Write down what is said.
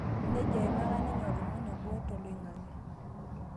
Nejo eimaka ninye oltungani obo toloing'ang'e